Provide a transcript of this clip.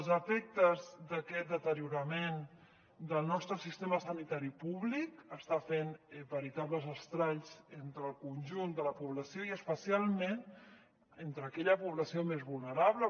els efectes d’aquest deteriorament del nostre sistema sanitari públic estan fent veritables estralls entre el conjunt de la població i especialment entre aquella població més vulnerable